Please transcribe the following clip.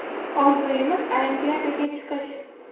Orzuyimiz Olimpiadaga chiqish.